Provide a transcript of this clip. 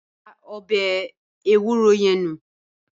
Da ọbẹ̀ ewúro yẹn nù.